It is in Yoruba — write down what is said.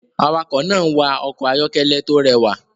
Awakọ̀ náà ń wa ọkọ̀ ayọ́kẹ́lẹ́ tó rẹwà